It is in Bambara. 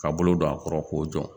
Ka bolo don a kɔrɔ k'o jɔ